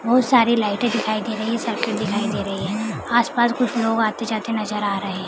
बहुत सारी लाइटें दिखाई दे रही है सड़के दिखाई दे रही है आस पास कुछ लोग आते जाते नजर आ रहे हैं ।